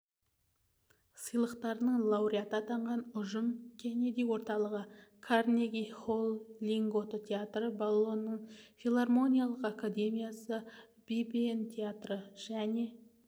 сыйлықтарының лауреаты атанған ұжым кеннеди орталығы карнеги-холл линготто театры болонның филармониялық академиясы бибиен театры және